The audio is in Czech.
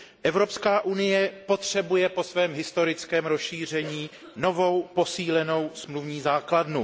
Evropská unie potřebuje po svém historickém rozšíření nový, posílený smluvní základ.